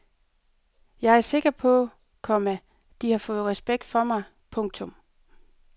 Jeg er sikker på, komma de har fået respekt for mig. punktum